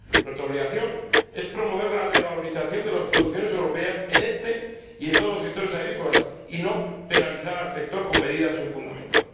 Nuestra obligación es promover la revalorización de las producciones europeas en este y en todos los sectores agrícolas y no penalizar al sector con medidas sin fundamento.